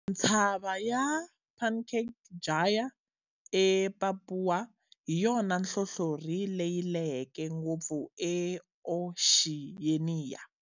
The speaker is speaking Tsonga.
Ntshava ya Puncak Jaya e Papuwa hiyona nhlohlorhi leyi leheke ngopfu e Oxiyeniya.